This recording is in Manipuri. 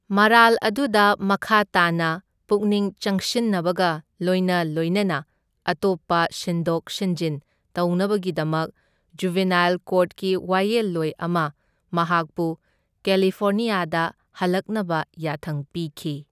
ꯃꯔꯥꯜ ꯑꯗꯨꯗ ꯃꯈꯥ ꯇꯥꯅ ꯄꯨꯛꯅꯤꯡ ꯆꯪꯁꯤꯟꯅꯕꯒ ꯂꯣꯏꯅ ꯂꯣꯏꯅꯅ ꯑꯇꯣꯞꯄ ꯁꯤꯟꯗꯣꯛ ꯁꯤꯟꯖꯤꯟ ꯇꯧꯅꯕꯒꯤꯗꯃꯛ ꯖꯨꯚꯦꯅꯥꯏꯜ ꯀꯣꯔ꯭ꯠꯀꯤ ꯋꯥꯌꯦꯜꯂꯣꯏ ꯑꯃꯅ ꯃꯍꯥꯛꯄꯨ ꯀꯦꯂꯤꯐꯣꯔꯅꯤꯌꯥꯗ ꯍꯜꯂꯛꯅꯕ ꯌꯥꯊꯪ ꯄꯤꯈꯤ꯫